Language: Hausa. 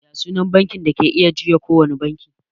Ya sunan bankin da ke iya juya kowane banki?